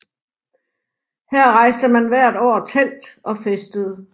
Her rejste man hvert år telt og festede